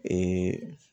Ee